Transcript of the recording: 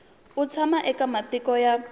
u tshama eka matiko ya